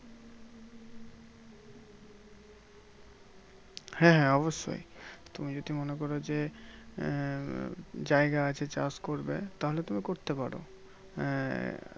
হ্যাঁ হ্যাঁ অবশ্যই তুমি যদি মনে করো যে, আহ জায়গা আছে চাষ করবে তাহলে তুমি করতে পারো। আহ